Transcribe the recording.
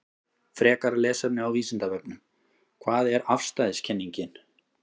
Frekara lesefni á Vísindavefnum: Hvað er afstæðiskenningin?